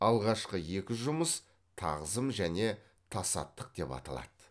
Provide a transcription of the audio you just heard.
алғашқы екі жұмыс тағзым және тасаттық деп аталады